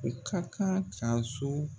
U ka kan ka so